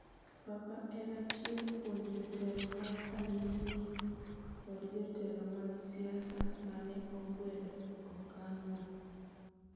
Papa en achiel kuon jotelo mag kanisni kod jotelo mag siasa mane okwedo okang no.